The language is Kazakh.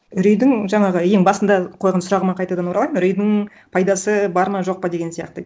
үрейдің жаңағы ең басында қойған сұрағыма қайтадан оралайын үрейдің пайдасы бар ма жоқ па деген сияқты